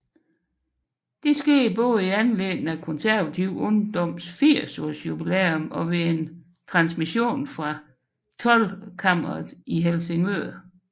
Dette skete både i anledning af Konservativ Ungdoms 80 års jubilæum og ved en livetransmission fra Toldkammeret i Helsingør